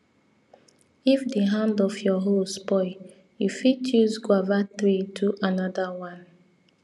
if the hand of your hoe spoil you fit use guava tree do another one